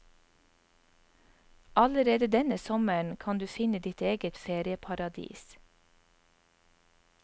Allerede denne sommeren kan du finne ditt eget ferieparadis.